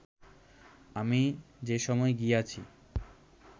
আমি যে সময় গিয়াছি